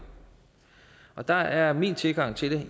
der er min tilgang til